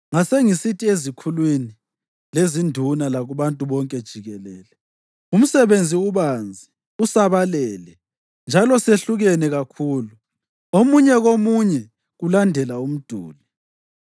Ngasengisithi ezikhulwini, lezinduna lakubantu bonke jikelele, “Umsebenzi ubanzi usabalele, njalo sehlukene kakhulu omunye komunye kulandela umduli.